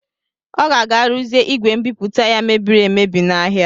Ọ ga-aga ruzie igwe mbipụta ya mebiri emebi n'ahịa.